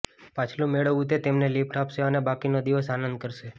પાછલું મેળવવું તે તમને લિફટ આપશે અને બાકીનો દિવસ આનંદ કરશે